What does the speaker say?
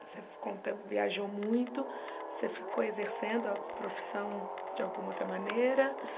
Você conta viajou muito, você ficou exercendo a profissão de alguma outra maneira?